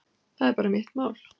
Það er bara mitt mál.